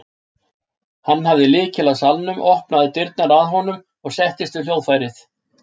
Hann hafði lykil að salnum, opnaði dyrnar með honum og settist við hljóðfærið.